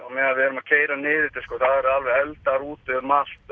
meðan við erum að keyra niður eftir þá eru alveg eldar út um